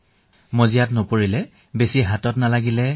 এনেদৰে বুজাইছো মহোদয়